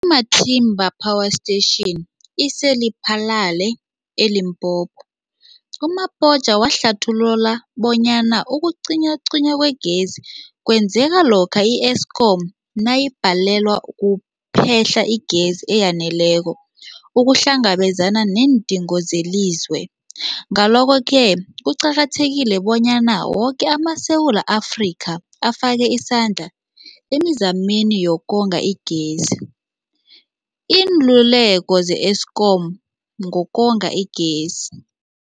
I-Matimba Power Station ise-Lephalale, eLimpopo. U-Mabotja wahlathulula bonyana ukucinywacinywa kwegezi kwenzeka lokha i-Eskom nayibhalelwa kuphe-hla igezi eyaneleko ukuhlangabezana neendingo zelizwe. Ngalokho-ke kuqakathekile bonyana woke amaSewula Afrika afake isandla emizameni yokonga igezi. Iinluleko ze-Eskom ngokonga igezi.